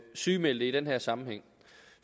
sygemeldte i den her sammenhæng